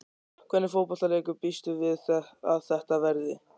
Hvernig fótboltaleikur býstu við að þetta verði?